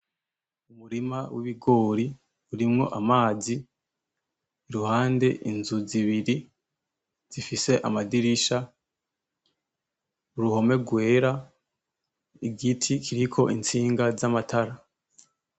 Umurima w’ibingori urimwo amazi kuruhande ,inzu zibiri zifise amadirisha ,uruhone rwera igiti kiriko istinga zamatara.